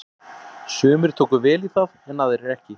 Sumir tóku vel í það en aðrir ekki.